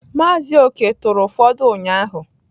Mazị Okey turu ufọdu ụnyahụ.